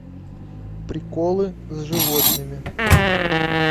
приколы с животными